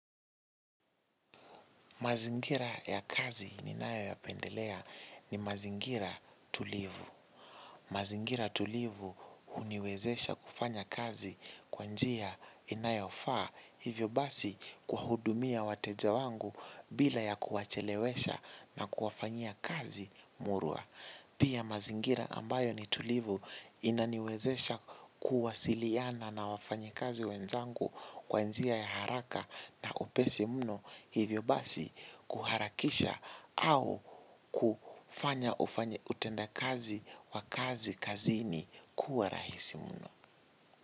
Mazingira ya kazi ninayo yapendelea ni mazingira tulivu. Mazingira tulivu huniwezesha kufanya kazi kwa njia inayofaa hivyo basi kuwahudumia wateja wangu bila ya kuwachelewesha na kuwafanyia kazi murwa. Pia mazingira ambayo ni tulivu inaniwezesha kuwasiliana na wafanyi kazi wenzangu kwa njia ya haraka na upesi mno hivyo basi kuharakisha au kufanya utenda kazi wa kazi kazini kuwa rahisi mno.